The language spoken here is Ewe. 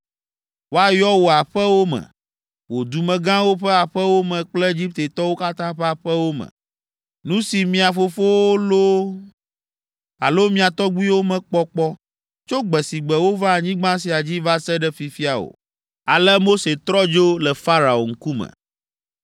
Woayɔ wò aƒewo me, wò dumegãwo ƒe aƒewo me kple Egiptetɔwo katã ƒe aƒewo me, nu si mia fofowo loo alo mia tɔgbuiwo mekpɔ kpɔ, tso gbe si gbe wova anyigba sia dzi va se ɖe fifia o.’ ” Ale Mose trɔ dzo le Farao ŋkume.